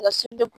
Na